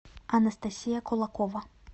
анастасия кулакова